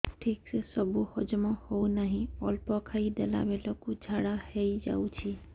ଠିକସେ ସବୁ ହଜମ ହଉନାହିଁ ଅଳ୍ପ ଖାଇ ଦେଲା ବେଳ କୁ ଝାଡା ହେଇଯାଉଛି